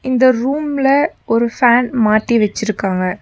இந்த ரூம்ல ஒரு ஃபேன் மாத்தி வெச்சிருக்காங்க.